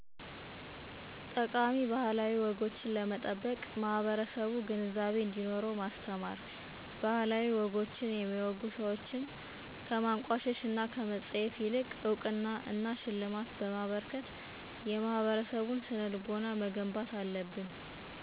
ጠቃሜ ባህላዊ ወጎችን ለመጠበቅ ማህበረሰቡ ግንዛቤ እንዴኖረው ማስተማር። ባህላዊ ወጎችን የሚያወጉ ሰዎችን ከማንቋሸሽ እና ከመፀየፍ ይልቅ እውቅና እና ሽልማት በማበርከት የማህበረሰቡን ስነልቦና መገንባት አለብን።